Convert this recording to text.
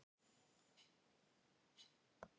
Seljalandsfoss, Skógafoss og Írárfoss.